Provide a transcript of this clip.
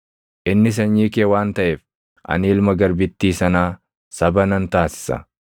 Inni sanyii kee waan taʼeef ani ilma garbittii sanaa saba nan taasisa.”